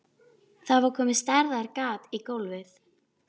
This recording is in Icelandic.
Það var komið stærðar gat í gólfið.